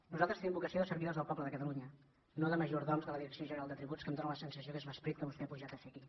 nosaltres tenim vocació de servidors del poble de catalunya no de majordoms de la direcció general de tributs que em fa la sensació que és l’esperit que vostè ha pujat a fer aquí